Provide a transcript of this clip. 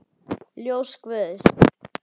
Ljós guðs.